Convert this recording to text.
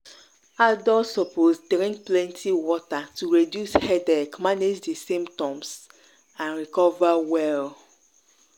adults suppose drink plenty water to reduce headache manage di symptoms and recover well.